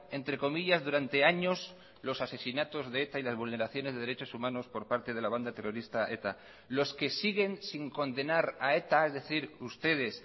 entre comillas durante años los asesinatos de eta y las vulneraciones de derechos humanos por parte de la banda terrorista eta los que siguen sin condenar a eta es decir ustedes